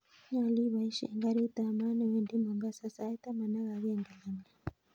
Nyolu abaishen garit ab maat newendi mombasa sait taman ak agenge langat